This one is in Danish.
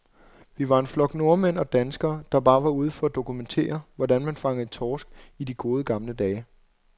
Vi var en flok nordmænd og danskere, der bare var ude for at dokumentere, hvordan man fangede torsk i de gode, gamle dage.